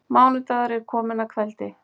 Mánudagur er kominn að kveldi.